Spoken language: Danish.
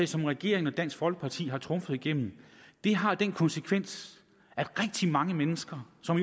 som regeringen og dansk folkeparti har trumfet igennem har den konsekvens at rigtig mange mennesker som